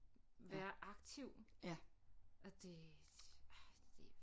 Være aktiv og det det